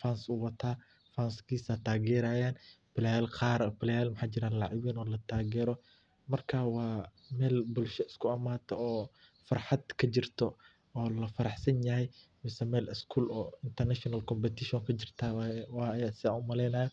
funs uu wataa funkis ayu wataa player qaar marka wa mel bulshad iskuimato oo walafarahsanyaah .